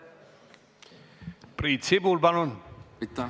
Priit Sibul, palun!